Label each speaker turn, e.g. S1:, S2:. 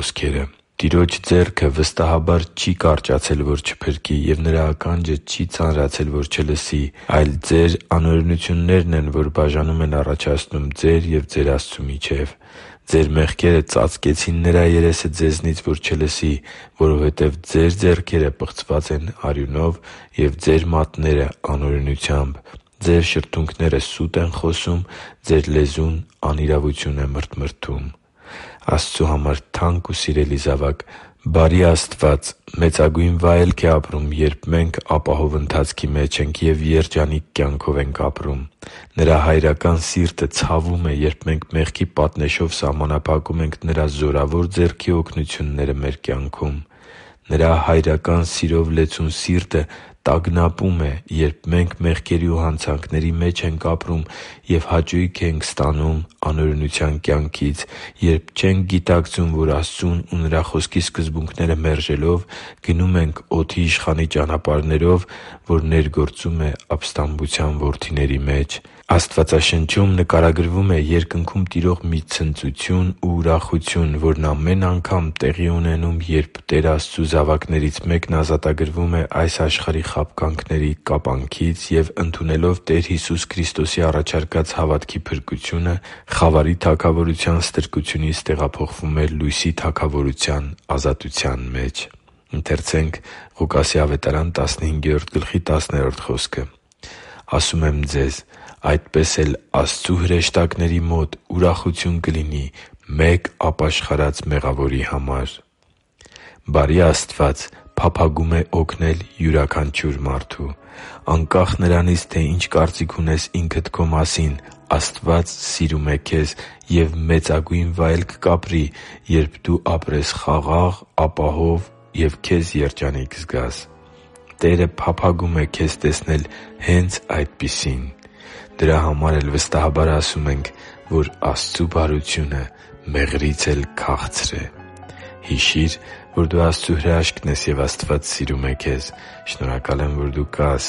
S1: ժամանակ։ «Տիրոջ ձեռքը վստահաբար չի կարճացել, որ չփրկի, և Նրա ականջը չի ծանրացել, որ չլսի, այլ ձեր անօրենություններն են, որ բաժանում են առաջացնում ձեր և ձեր Աստծու միջև. ձեր մեղքերը ծածկեցին Նրա երեսը ձեզնից, որ ձեզ չլսի, որովհետև ձեր ձեռքերը պղծված են արյունով, և ձեր մատները՝ անօրենությամբ, ձեր շրթունքները սուտ են խոսում, ձեր լեզուն անիրավություն է մրթմրթում» (Եսայիա 59․1-3): Աստծու համար թանկ ու սիրելի՛ զավակ, բարի Աստված մեծագույն վայելք է ապրում, երբ մենք ապահով ընթացքի մեջ ենք և երջանիկ կյանքով ենք ապրում։ Նրա հայրական սիրտը ցավում է, երբ մենք մեղքի պատնեշով սահմանափակում ենք Նրա զորավոր ձեռքի օգնությունները մեր կյանքում։ Նրա՝ հայրական սիրով լեցուն սիրտը տագնապում է, երբ մենք մեղքերի ու հանցանքների մեջ ենք ապրում և հաճույք ենք ստանում անօրենության կյանքից․․․, երբ չենք գիտակցում, որ Աստծուն ու Նրա Խոսքի սկզբունքները մերժելով՝ գնում ենք օդի իշխանի ճանապարհներով, որ ներգործում է ապստամբության որդիների մեջ։ Աստվածաշնչում նկարագրվում է Երկնքում տիրող մի ցնծություն ու ուրախություն, որն ամեն անգամ տեղի է ունենում, երբ Տեր Աստծու զավակներից մեկն ազատագրվում է այս աշխարհի խաբկանքների կապանքից և, ընդունելով Տեր Հիսուս Քրիստոսի առաջարկած հավատքի փրկությունը, խավարի թագավորության ստրկությունից տեղափոխվում է Լույսի Թագավորության ազատության մեջ։ «Ասում եմ ձեզ. այդպես էլ Աստծու հրեշտակների մոտ ուրախություն կլինի մեկ ապաշխարած մեղավորի համար» (Ղուկաս 15.10): Բարի Աստված փափագում է օգնել յուրաքանչյուր մարդու։ Անկախ նրանից, թե ինչ կարծիք ունես ինքդ քո մասին, Աստված սիրում է քեզ և մեծագույն վայելք կապրի, երբ դու ապրես խաղաղ, ապահով և քեզ երջանիկ զգաս։ Տերը փափագում է քեզ տեսնել հե՛նց այսպիսին։ Դրա համար էլ վստահաբար ասում ենք, որ Աստծու բարությունը մեղրից էլ քաղցր է․․․ Հիշի՛ր, որ դու Աստծո հրաշքն ես, և Աստված սիրում է քեզ։ Շնորհակալ եմ, որ դու կա՛ս